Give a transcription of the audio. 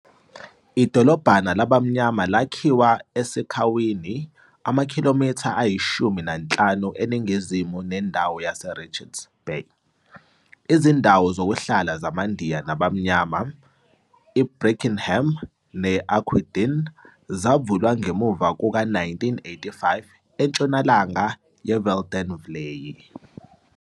Idolobhana labamnyama lakhiwa eSikhawini, amakhilomitha ayishumi nanhlanu eNingizimu nendawo yaseRichards Bay. Izindawo zokuhlala zamaNdiya nabamnyama, iBrackenham ne-Aquadene, zavulwa ngemuva kuka-1985 entshonalanga yeVeldenvlei.